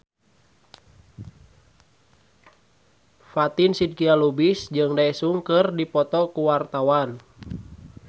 Fatin Shidqia Lubis jeung Daesung keur dipoto ku wartawan